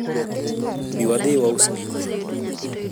bi wadhi waus gikwa